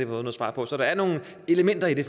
noget svar på så der er nogle elementer i det